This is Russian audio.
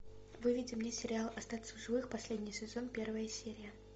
выведи мне сериал остаться в живых последний сезон первая серия